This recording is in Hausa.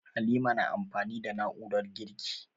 Halima na amfani da na'urar girki.